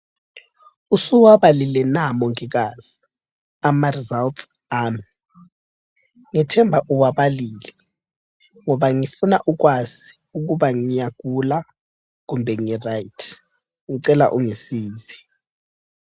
Usuwabalile na mongikazi amaresults ami. Ngithemba uwabalile ngoba ngifuna ukwazi ukuba ngiyagula kumbe ngiright. Ngicela ungisize.